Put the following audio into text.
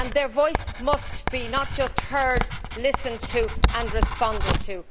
Their voice must be not just heard but listened to and responded to.